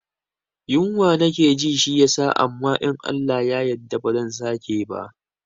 Yunwa nake ji shi yasa amma in Allah ya yadda ba zan sake bah